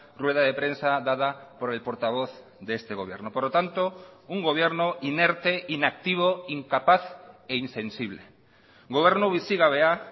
rueda de prensa dada por el portavoz de este gobierno por lo tanto un gobierno inerte inactivo incapaz e insensible gobernu bizigabea